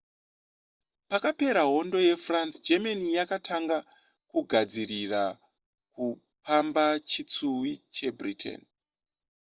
pakapera hondo yefrance germany yakatanga kugadzirira kupamba chitsuwi chebritain